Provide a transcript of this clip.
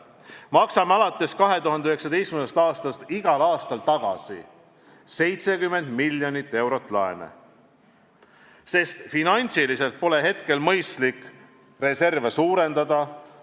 Me maksame alates 2019. aastast igal aastal tagasi 70 miljonit eurot laene, sest finantsiliselt pole hetkel mõistlik reserve suurendada.